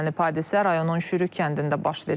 Hadisə rayonun Şürük kəndində baş verib.